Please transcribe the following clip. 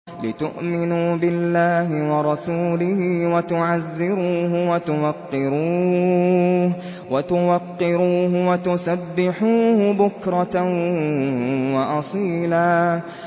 لِّتُؤْمِنُوا بِاللَّهِ وَرَسُولِهِ وَتُعَزِّرُوهُ وَتُوَقِّرُوهُ وَتُسَبِّحُوهُ بُكْرَةً وَأَصِيلًا